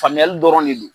Faamuyali dɔrɔn de don